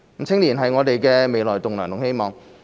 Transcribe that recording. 青年人是我們的未來棟樑和希望。